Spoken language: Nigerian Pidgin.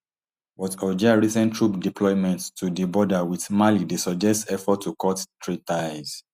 but algeria recent troop deployment to di border with mali dey suggest efforts to cut trade ties